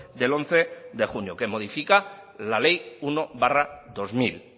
del once de junio que modifica la ley uno barra dos mil